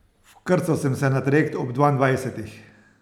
Vkrcal sem se na trajekt ob dvaindvajsetih.